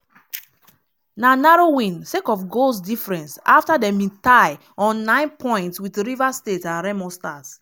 na narrow win sake of goals difference afta dem bin tie on nine points wit rivers united and remo stars.